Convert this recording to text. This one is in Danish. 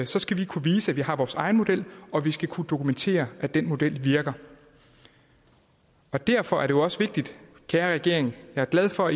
så skal vi kunne vise at vi har vores egen model og vi skal kunne dokumentere at den model virker derfor er det jo også vigtigt kære regering jeg er glad for